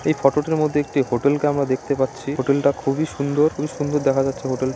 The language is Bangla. এই ফটো টির মধ্যে একটি হোটেলকে আমরা দেখতে পাচ্ছি। হোটেল টা খুবই সুন্দর খুবই সুন্দর দেখা যাচ্ছে।